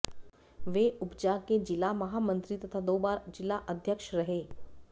वे उपजा के जिला महामंत्री तथा दो बार जिला अध्यक्ष रहे